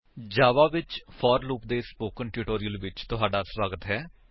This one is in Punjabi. ਜਾਵਾ ਵਿੱਚ ਫੋਰ ਲੂਪ ਦੇ ਸਪੋਕਨ ਟਿਊਟੋਰਿਅਲ ਵਿੱਚ ਤੁਹਾਡਾ ਸਵਾਗਤ ਹੈ